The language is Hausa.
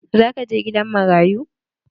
Za ka je gidan marayu?